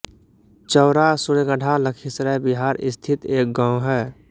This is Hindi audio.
चौरा सूर्यगढा लखीसराय बिहार स्थित एक गाँव है